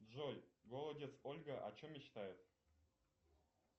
джой голодец ольга о чем мечтает